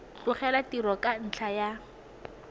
tlogela tiro ka ntlha ya